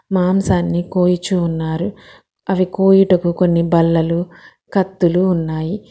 మాంసాన్ని కోయుచున్నారు అవి కోయిడకు కొన్ని బల్లలు కత్తులు ఉన్నాయి.